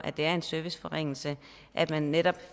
det er en serviceforringelse at man netop